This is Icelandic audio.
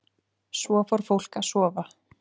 Svo fór fólk að sofa.